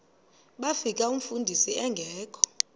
bafika umfundisi engekho